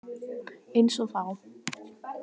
Einsog þá.